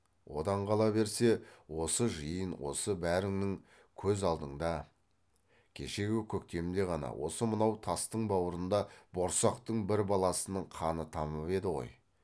одан қала берсе осы жиын осы бәріңнің көз алдында кешегі көктемде ғана осы мынау тастың бауырында борсақтың бір баласының қаны тамып еді ғой